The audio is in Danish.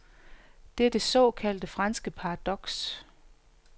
Det er det såkaldte franske paradoks.